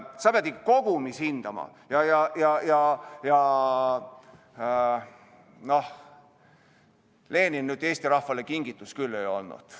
Sa pead ikka kogumis hindama ja Lenin Eesti rahvale nüüd kingitus küll ei olnud.